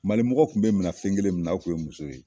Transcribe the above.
Malimɔgɔ kun bɛ minɛ fɛnkelen min na o kun ye muso ye.